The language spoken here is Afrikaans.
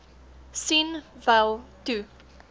sien wel toe